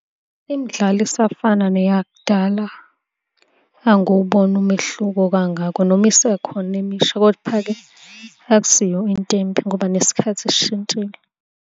Imidlalo isafana neyakudala, Angiwuboni umehluko kangako noma isekhona emisha, kepha-ke akusiyo into embi ngoba nesikhathi sishintshile.